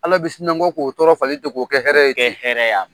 Ala bi sinɔgɔ k'o tɔɔrɔ falen ten k'o kɛ hɛrɛ ye ten . Ko kɛ hɛrɛ ya ma.